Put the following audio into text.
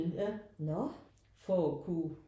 Ja for at kunne